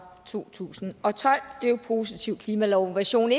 to tusind og tolv den en positiv klimalov version